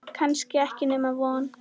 Kannski ekki nema von.